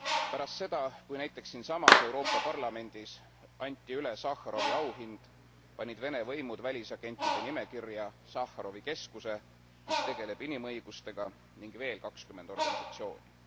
Pärast seda, kui näiteks siinsamas Euroopa Parlamendis anti üle Sahharovi auhind, panid Vene võimud välisagentide nimekirja Sahharovi keskuse, mis tegeleb inimõigustega, ning veel kakskümmend organisatsiooni.